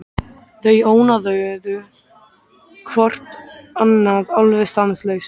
Þau ónáðuðu hvort annað alveg stanslaust.